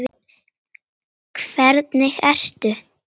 Hvernig ertu??